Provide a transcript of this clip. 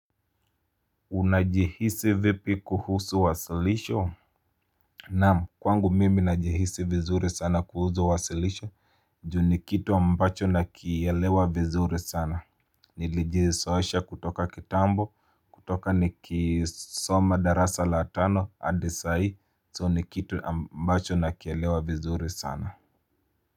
Unajihisi vipi kuhusu wasilisho? Naam kwangu mimi najihisi vizuri sana kuhusu wasilisho juu ni kitu ambacho nakielewa vizuri sana Nilijizoesha kutoka kitambo kutoka nikisoma darasa la tano hadi sai so ni kitu ambacho nakielewa vizuri sana.